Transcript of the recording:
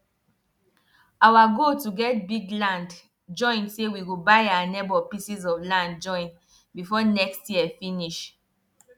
every every time we do new round we dey keep full note of wetin come out and how the work take go.